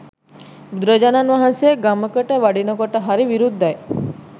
බුදුරජාණන් වහන්සේ ගමකට වඩිනකොට හරි විරුද්ධයි.